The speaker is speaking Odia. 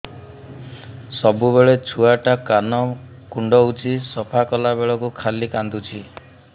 ସବୁବେଳେ ଛୁଆ ଟା କାନ କୁଣ୍ଡଉଚି ସଫା କଲା ବେଳକୁ ଖାଲି କାନ୍ଦୁଚି